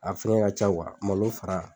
A finkɛ ka ca malo fara